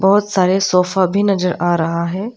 बहोत सारे सोफा भी नजर आ रहा है।